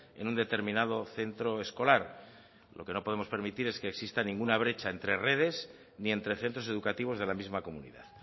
en un determinado centro escolar lo que no podemos permitir es que exista ninguna brecha entre redes ni entre centros educativos de la misma comunidad